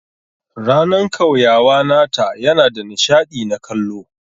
Ranan kauyawa nata yana da nishadi na kallo.